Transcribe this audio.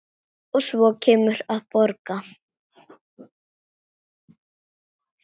Og svo kemurðu að borða!